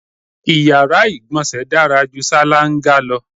Iyàrá ìgbọ̀nsẹ̀ dára ju ṣáláńgá lọ.